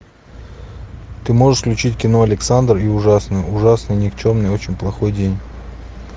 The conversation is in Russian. ты можешь включить кино александр и ужасный ужасный никчемный очень плохой день